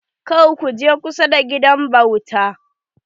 Kar ku je kusa da gidan bauta.